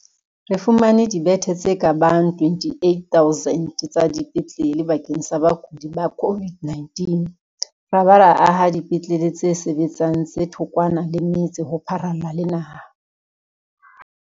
Re fumane dibethe tse ka bang 28 000 tsa dipetlele bakeng sa bakudi ba COVID-19 ra ba ra aha dipetlele tse sebetsang tse thokwana le metse ho pharalla le naha.